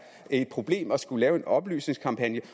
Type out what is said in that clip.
et problem at skulle lave en oplysningskampagne